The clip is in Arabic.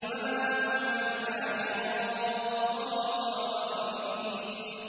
وَمَا هُمْ عَنْهَا بِغَائِبِينَ